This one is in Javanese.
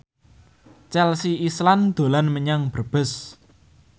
Chelsea Islan dolan menyang Brebes